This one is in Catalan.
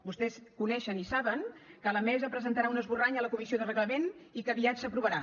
vostès coneixen i saben que la mesa presentarà un esborrany a la comissió de reglament i que aviat s’aprovarà